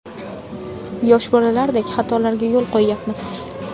Yosh bolalardek xatolarga yo‘l qo‘yyapmiz.